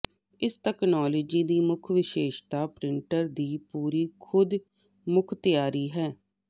ਇਸ ਤਕਨਾਲੋਜੀ ਦੀ ਮੁੱਖ ਵਿਸ਼ੇਸ਼ਤਾ ਪ੍ਰਿੰਟਰ ਦੀ ਪੂਰੀ ਖੁਦਮੁਖਤਿਆਰੀ ਹੈ